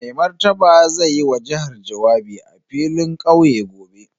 Mai Martaba zai yi wa jihar jawabi a filin kauye gobe.